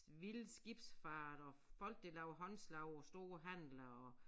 Vilde skibsfart og folk der laver håndslag og store handler og